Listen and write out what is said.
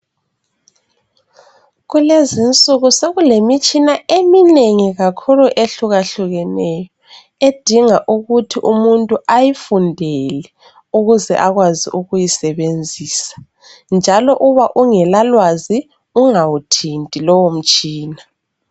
Kulezinsuku sekulemitshina eminengi kakhulu ehlukahlukeneyo, edinga ukuthi umuntu ayifundele ukuze akwazi ukuyisebenzisa njalo uba ungela lwazi ungawuthinti lowo mutshina.